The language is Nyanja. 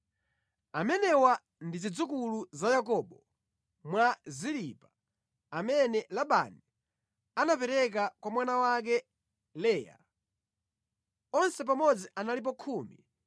Amenewa ndi zidzukulu za Yakobo mwa Zilipa amene Labani anapereka kwa mwana wake, Leya. Onse pamodzi analipo 16.